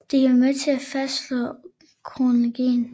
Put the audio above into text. De kan være med til at fastslå kronologien